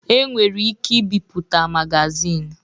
E nwere ike ibipụta magazini.